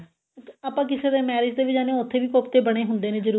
ਆਪਾਂ ਕਿਸੀ ਦੀ marriage ਤੇ ਵੀ ਜਾਂਦੇ ਆਂ ਉੱਥੇ ਵੀ ਕੋਫਤੇ ਬਣੇ ਹੀ ਹੁੰਦੇ ਨੇ ਜਰੂਰ